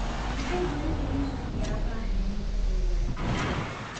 Maxay hooyada yussuf iyo Aabaha xalimo ka doodayaan?